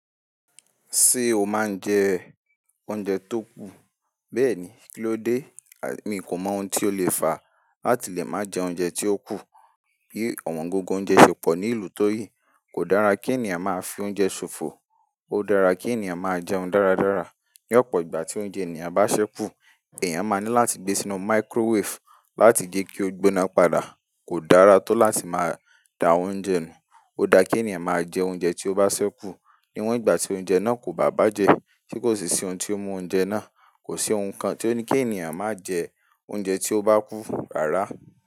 Ṣé o máa ń jẹ oúnjẹ tó kù? Bẹ́ẹ̀ni, kíló dé? Èmi kò mọ ohun tí ó le fa, a ò tìlè máa jẹ oúnjẹ tí ó kù. Bí ọ̀wọ́n gogo oúnjẹ ṣò fò ní ìlú tó yìí, kò dára kí ènìyàn máa fi oúnjẹ ṣò fò. Ó dára kí ènìyàn máa jẹun dáradára. Ni ọ̀pọ̀ ìgbà tí oúnjẹ ènìyàn bá ṣẹ́ kù, ènìyàn máa ní láti gbé e sínú microwave láti gé kí ó gbona padà. Kò dára tó láti máa da oúnjẹ nu. Ó dáa kí ènìyàn máa je oúnje tó bá se kun ni wọ́n ìgbà tí oúnjẹ náà kò bá bàjẹ́, tí kò sì sí ohun tí ó mú oúnjẹ náà. Kò sí ohun kan tí ó ní kí ènìyàn má jẹ oúnjẹ tí ó bá kú, rárá.